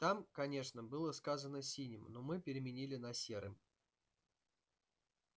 там конечно было сказано синим но мы переменили на серым